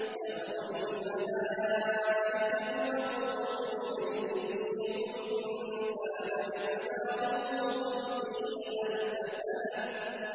تَعْرُجُ الْمَلَائِكَةُ وَالرُّوحُ إِلَيْهِ فِي يَوْمٍ كَانَ مِقْدَارُهُ خَمْسِينَ أَلْفَ سَنَةٍ